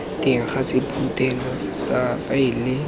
teng ga sephuthelo sa faele